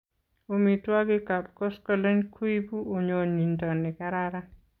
Omituokik Kap koskoleny kuibu onyinyinto nikararan.